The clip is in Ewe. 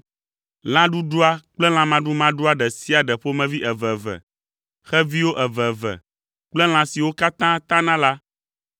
Lã ɖuɖua kple lã maɖumaɖua ɖe sia ɖe ƒomevi eveve, xeviwo eveve kple lã siwo katã tana la,